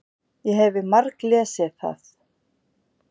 Ég hefi marglesið það.